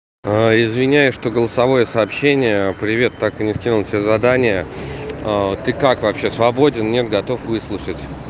извиняюсь что голосовое сообщение привет так и не скинул все задания ты как вообще свободен нет готов выслушать